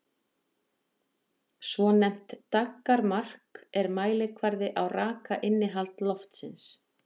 Svonefnt daggarmark er mælikvarði á rakainnihald loftsins.